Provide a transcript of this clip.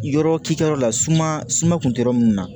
Yɔrɔ k'i kɛ yɔrɔ la suma suma kun tɛ yɔrɔ min na